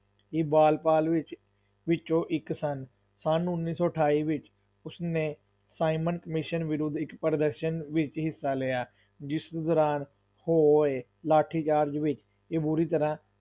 ਇਹ ਬਾਲ ਪਾਲ ਵਿੱਚ, ਵਿਚੋਂ ਇੱਕ ਸਨ, ਸੰਨ ਉੱਨੀ ਸੌ ਅਠਾਈ ਵਿੱਚ ਉਸ ਨੇ ਸਾਈਮਨ ਕਮੀਸ਼ਨ ਵਿਰੁੱਧ ਇੱਕ ਪ੍ਰ੍ਦਰਸ਼ਨ ਵਿੱਚ ਹਿੱਸਾ ਲਿਆ, ਜਿਸ ਦੌਰਾਨ ਹੋਏ ਲਾਠੀਚਾਰਜ ਵਿੱਚ ਇਹ ਬੁਰੀ ਤਰ੍ਹਾਂ,